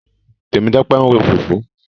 Tẹ̀mítọ́pẹ́ ń ro fùfú.